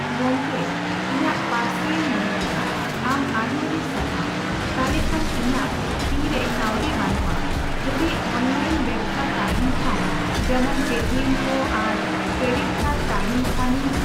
ᱜᱚᱝᱠᱮ ᱤᱧᱟᱹᱜ ᱯᱟᱨᱥᱮᱞᱤᱧ ᱧᱮᱞ ᱠᱮᱫᱟ᱾ ᱟᱢ ᱟᱹᱰᱤᱼᱟᱹᱰᱤ ᱥᱟᱨᱦᱟᱣ᱾ ᱛᱟᱦᱞᱮᱠᱷᱟᱱ ᱤᱧᱟᱹᱜ ᱛᱤ ᱨᱮ ᱠᱟᱹᱣᱰᱤ ᱵᱟᱹᱱᱩᱜᱼᱟ ᱾ ᱡᱩᱫᱤ ᱚᱱᱞᱟᱭᱤᱱ ᱵᱮᱵᱚᱥᱛᱟ ᱛᱟᱦᱮᱱ ᱠᱷᱟᱱ ᱡᱮᱢᱚᱱ ᱯᱮᱴᱤᱮᱢ ᱠᱚ ᱟᱨ ᱠᱨᱮᱰᱤᱴ ᱠᱟᱨᱰ ᱛᱟᱦᱮᱱ ᱠᱷᱟᱱ ᱤᱧ᱾